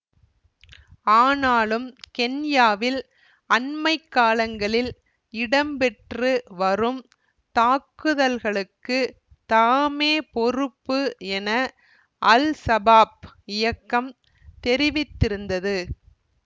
ஆனாலும் கென்யாவில் அண்மை காலங்களில் இடம்பெற்று வரும் தாக்குதல்களுக்கு தாமே பொறுப்பு என அல்சபாப் இயக்கம் தெரிவித்திருந்தது